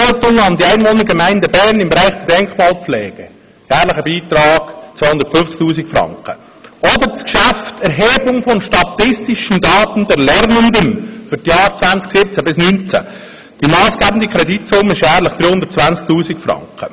Abgeltung an die Einwohnergemeide Bern im Bereich der Denkmalpflege, jährlicher Beitrag 250 000 Franken oder auch die Erhebung von statistischen Daten der Lernenden für die Jahre 2017/2018, massgebende Kreditsumme jährlich 320 000 Franken.